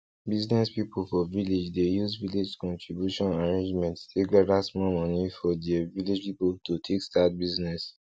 business people for village dey use village contribution arrangement take gather smallmoni for dere village people to take start business